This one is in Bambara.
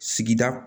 Sigida